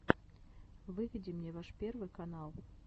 выведи мне ваш первый канал